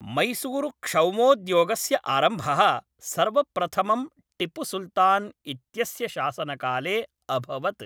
मैसूरुक्षौमोद्योगस्य आरम्भः सर्वप्रथमं टिप्पुसुल्तान् इत्यस्य शासनकाले अभवत्।